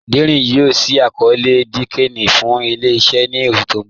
Dẹ́rín yoo ṣí àkọọ̀lẹ̀ linkedIn fún ilẹ̀-iṣẹ̀ ní oṣù tí n bọ̀.